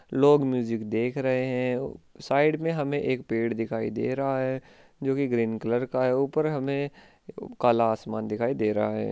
लोग म्यूजिक देख रहे है साइड में हमे एक पेड़ दिखाई दे रहा है जो कि ग्रीन कलर का है ऊपर हमे उ काला आसमान दिखाई दे रहा है।